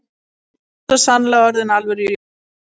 Hann var svo sannarlega orðinn að alvöru jólasveini.